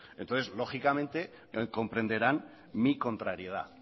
entonces lógicamente comprenderán mi contrariedad